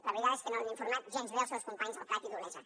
la veritat és que no l’han informat gens bé els seus companys del prat i d’olesa